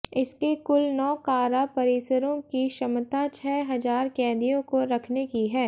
इसके कुल नौ कारा परिसरों की क्षमता छह हजार कैदियों को रखने की है